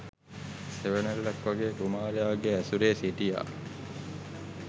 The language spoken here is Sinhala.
සෙවනැල්ලක් වගේ කුමාරයාගේ ඇසුරේ සිටියා.